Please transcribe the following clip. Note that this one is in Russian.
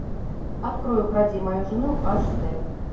открой укради мою жену аш дэ